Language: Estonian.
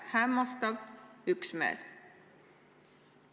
Hämmastav üksmeel!